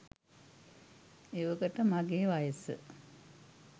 එවකට මගේ වයස